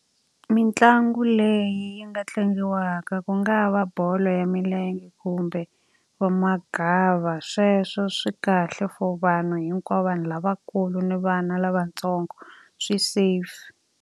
Mitlangu leyi nga tlangiwaka ku nga va bolo ya milenge kumbe va magava. Sweswo swi kahle for vanhu hinkwavo vanhu lavakulu ni vana lavatsongo swi safe.